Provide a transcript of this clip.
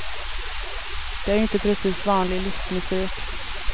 Det är ju inte precis vanlig listmusik.